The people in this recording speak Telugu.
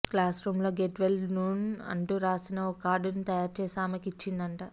క్లాస్రూమ్లో గెట్ వెల్ నూన్ అంటూరాసిన ఒక కార్డును తయారు చేసి ఆమెకు ఇచ్చిందట